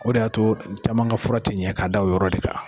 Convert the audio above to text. O de y'a to caman ka fura ten ɲɛ ka da o yɔrɔ de kan.